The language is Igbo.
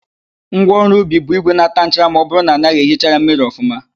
Ngwaọrụ ubi bụ ígwè ga-àtá nchara ma ọbụrụ na anaghị ehicha ya mmiri ọfụma.